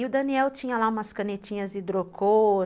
E o Daniel tinha lá umas canetinhas hidrocor.